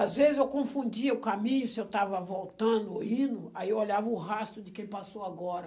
Às vezes eu confundia o caminho, se eu estava voltando ou indo, aí eu olhava o rastro de quem passou agora.